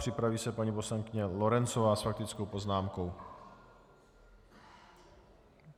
Připraví se paní poslankyně Lorencová s faktickou poznámkou.